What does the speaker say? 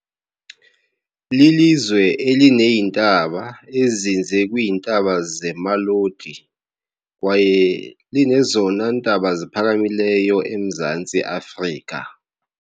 Lilizwe elineentaba ezinze kwiintaba zeMaloti, kwaye linezona ntaba ziphakamileyo eMzantsi Afrika